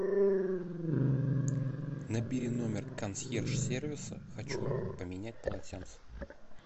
набери номер консьерж сервиса хочу поменять полотенца